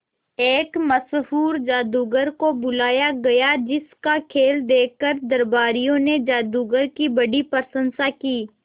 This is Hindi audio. एक मशहूर जादूगर को बुलाया गया जिस का खेल देखकर दरबारियों ने जादूगर की बड़ी प्रशंसा की